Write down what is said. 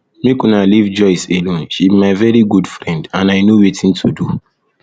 make una leave joyce alone she be my very good friend and i no wetin to do